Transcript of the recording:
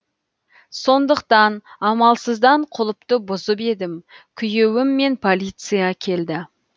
сондықтан амалсыздан құлыпты бұзып едім күйеуім мен полиция келді